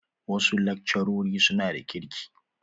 Wasu lakcarori suna da kirki.